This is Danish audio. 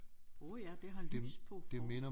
Åh ja det har lys på for